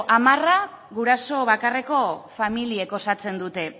hamara guraso bakarreko familiek osatzen dute